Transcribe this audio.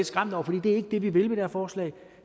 skræmt over for det er ikke det vi vil med det her forslag